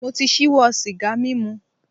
Mo ti ṣíwọ́ sìgá mímu.